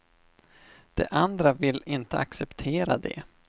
De andra vill inte acceptera det.